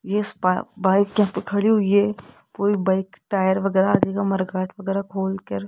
इस बाइ बाइक यहां पे खड़ी हुई हैं। कोई बाइक टायर वगैराह आदि का मडर्गाड वगैराह खोलकर--